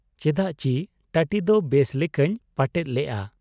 ᱪᱮᱫᱟᱜᱪᱤ ᱴᱟᱹᱴᱤᱫᱚ ᱵᱮᱥ ᱞᱮᱠᱟᱧ ᱯᱟᱴᱮᱫ ᱞᱮᱜ ᱟ ᱾